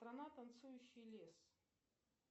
страна танцующий лес